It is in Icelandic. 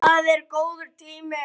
Það er góður tími.